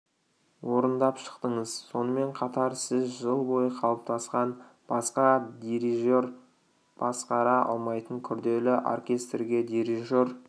орындап шықтыңыз сонымен қатар сіз жыл бойы қалыптасқан басқа дирижер басқара алмайтын күрделі оркестрге дирижер